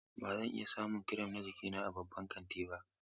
Ba zan iya samun kirim na jikina a cikin babban kantin ba.